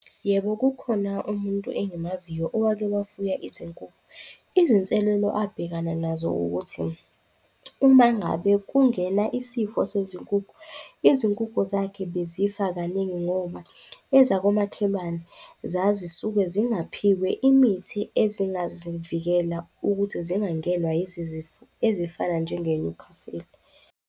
Yebo, kukhona umuntu engimaziyo owake wafuya izinkukhu. Izinselelo abhekana nazo, ukuthi uma ngabe kungena isifo sezinkukhu, izinkukhu zakhe bezifa kaningi ngoba ezokomakhelwane zazi suke zingaphiwe imithi ezingazimvikela ukuthi zingangenwa ezifana njengeNewcastle.